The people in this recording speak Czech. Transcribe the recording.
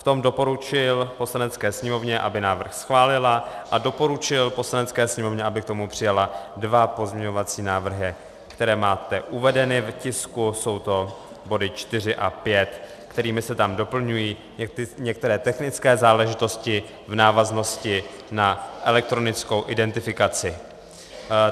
V tom doporučil Poslanecké sněmovně, aby návrh schválila, a doporučil Poslanecké sněmovně, aby k tomu přijala dva pozměňovací návrhy, které máte uvedeny v tisku, jsou to body 4 a 5, kterými se tam doplňují některé technické záležitosti v návaznosti na elektronickou identifikaci.